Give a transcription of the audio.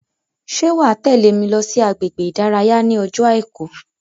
Ṣé wàá tẹ́lè mi lọ sí agbègbè ìdárayá ní ọjọ́ àìkú